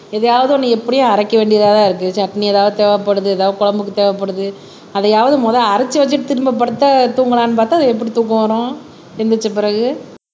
எதையாவது ஒண்ணு எப்படியும் அரைக்க வேண்டியதாதான் இருக்கு சட்னி ஏதாவது தேவைப்படுது ஏதாவது குழம்புக்கு தேவைப்படுது அதையாவது முதல்ல அரைச்சு வச்சிட்டு திரும்ப படுத்த தூங்கலாம்ன்னு பார்த்தால் அது எப்படி தூக்கம் வரும் எழுந்திரிச்ச பிறகு